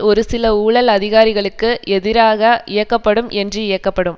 ஒரு சில ஊழல் அதிகாரிகளுக்கு எதிராக இயக்கப்படும் என்று இயக்கப்படும்